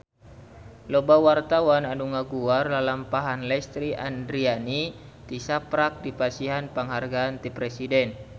Loba wartawan anu ngaguar lalampahan Lesti Andryani tisaprak dipasihan panghargaan ti Presiden